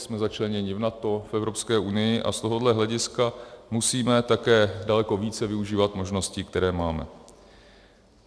Jsme začlenění v NATO, v Evropské unii a z tohoto hlediska musíme také daleko více využívat možností, které máme.